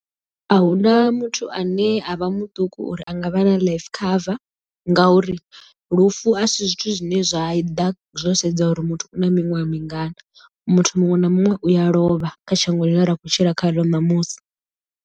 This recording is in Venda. Ahuna muthu ane a vha muṱuku uri a nga vha na life cover ngauri lufu a si zwithu zwine zwa ḓa zwo sedza uri muthu u na miṅwaha mingana muthu muṅwe na muṅwe u a lovha kha shango ḽine ra khou tshila khaḽo ṋamusi.